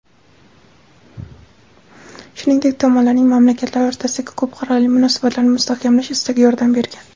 shuningdek tomonlarning mamlakatlar o‘rtasidagi ko‘p qirrali munosabatlarni mustahkamlash istagi yordam bergan.